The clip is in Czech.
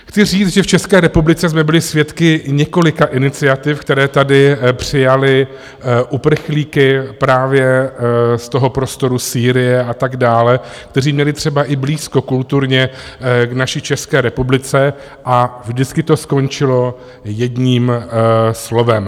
Chci říct, že v České republice jsme byli svědky několika iniciativ, které tady přijaly uprchlíky právě z toho prostoru Sýrie a tak dále, kteří měli třeba i blízko kulturně k naší České republice, a vždycky to skončilo jedním slovem.